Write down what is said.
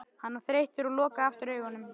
Hann var þreyttur og lokaði aftur augunum.